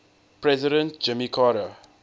president jimmy carter